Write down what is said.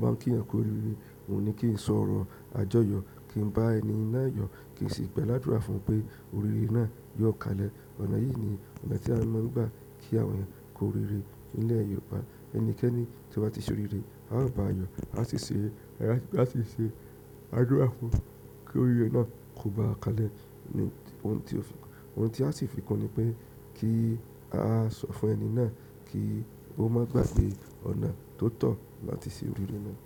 bá ń kí eyan ku oríire, oun ní kí n sọ ọ̀rọ̀ àjọyọ̀, kí n bá ẹni náà yọ, kí n sì gba làdúrà fún pé oríire náà yóò kalẹ̀. Ọ̀nà yìí ni ọ̀nà tí a mọ̀ nígbà kí àwọn eyan ku oríire nílẹ̀ Yorùbá. Ẹnikẹ́ni tí ó bá ti ṣe oríire, a ó báa yọ, a sì ṣe àdúrà fún kí oríire náà kó bá a kalẹ̀. Ohun tí a sì fi kún ni pé kí a sọ fún ẹni náà kí ó má gba pé ọ̀nà tó tọ̀ láti ṣe oríire náà.